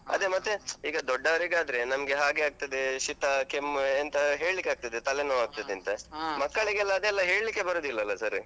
ಮತ್ತೆ ಈಗ ದೊಡ್ಡವರಿಗಾದ್ರೆ, ನಮ್ಗೆ ಹಾಗೆ ಆಗ್ತದೇ ಶೀತ, ಕೆಮ್ಮ್ ಎಂತ ಹೇಳಿಕ್ಕಾಗ್ತದೆ, ತಲೆ ನೋವಾಗ್ತದೆ ಅಂತ. ಅದೆಲ್ಲ ಹೇಳಿಕ್ಕೆ ಬರುದಿಲ್ಲಲ್ಲ sir .